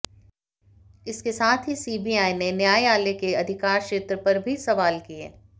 इसके साथ ही सीबीआई ने न्यायालय के अधिकार क्षेत्र पर भी सवाल किए